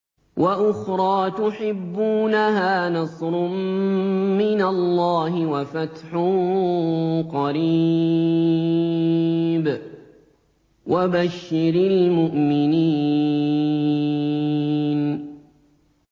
وَأُخْرَىٰ تُحِبُّونَهَا ۖ نَصْرٌ مِّنَ اللَّهِ وَفَتْحٌ قَرِيبٌ ۗ وَبَشِّرِ الْمُؤْمِنِينَ